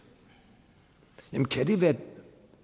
kan det være